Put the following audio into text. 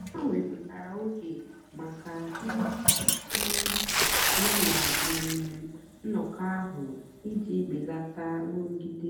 ha wèpụ̀tàra ógè maka ị̀ um nọ́ na um nnọ́kọ́ ahụ́ ijì bèlátà nrụ́gìdè.